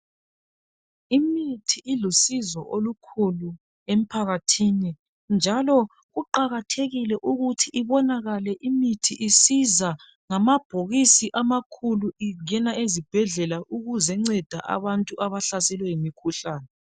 Imithi ilusizo olukhulu emphakathini njalo kuqakathekile ukuthi ibonakale imithi isiza ngamabhokisi amakhulu ingena ezibhedlela ukuzenceda abantu abahlaselwe yimikhuhlane.